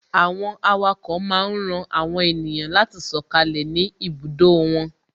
Àwọn awako máa ń ran àwọn ènìyàn láti sọkalẹ ni ibùdó wọn